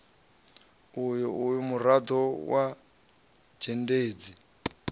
uyo e murado wa dzhendedzi